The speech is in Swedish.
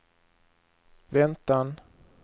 väntan